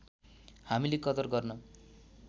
हामीले कदर गर्न